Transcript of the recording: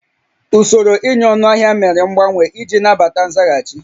Usoro ịnye ọnụahịa mere mgbanwe iji nabata nzaghachi